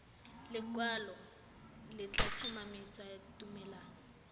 lekwalo le tla tlhomamisa tumalano